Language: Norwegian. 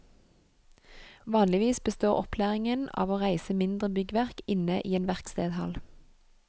Vanligvis består opplæringen av å reise mindre byggverk inne i en verkstedhall.